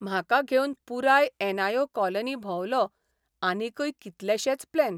म्हाका घेवन पुराय एनआयओ कॉलनी भोंवलो आनिकय कितलेशेच प्लॅन.